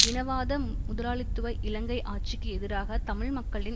இனவாத முதலாளித்துவ இலங்கை ஆட்சிக்கு எதிராக தமிழ் மக்களின்